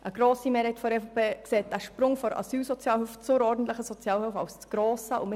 Eine grosse Mehrheit der EVP sieht den Sprung von der Asylsozialhilfe zur ordentlichen Sozialhilfe als zu gross an.